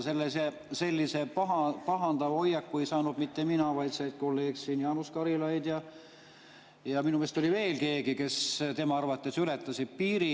Sellise pahandava hoiaku ei saanud mitte mina, vaid kolleeg Jaanus Karilaid ja minu meelest oli veel keegi, kes tema arvates ületasid piiri.